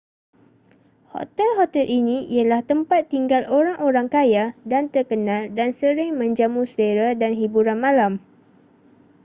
hotel-hotel ini ialah tempat tinggal orang-orang kaya dan terkenal dan sering menjamu selera dan hiburan malam